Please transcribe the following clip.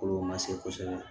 Kolo ma se kosɛbɛ